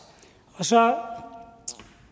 og så